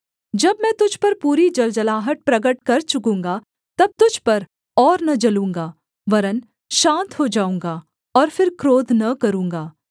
जब मैं तुझ पर पूरी जलजलाहट प्रगट कर चुकूँगा तब तुझ पर और न जलूँगा वरन् शान्त हो जाऊँगा और फिर क्रोध न करूँगा